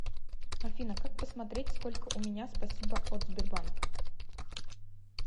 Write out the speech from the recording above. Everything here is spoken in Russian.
афина как посмотреть сколько у меня спасибо от сбербанк